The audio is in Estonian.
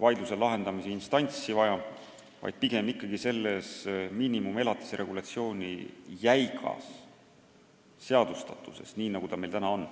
vaidluse lahendamise instantsi, pigem on probleem miinimumelatise regulatsiooni jäigas seadustatuses, nii nagu see meil praegu on.